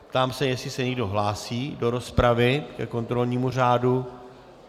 Ptám se, jestli se někdo hlásí do rozpravy ke kontrolnímu řádu.